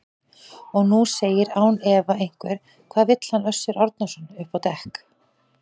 Og nú segir án efa einhver: Hvað vill hann Össur Árnason upp á dekk?